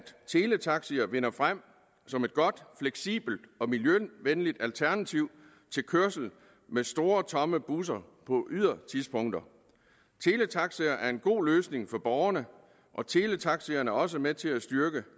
teletaxier vinder frem som et godt fleksibelt og miljøvenligt alternativ til kørsel med store tomme busser på ydertidspunkter teletaxier er en god løsning for borgerne og teletaxierne er også med til at styrke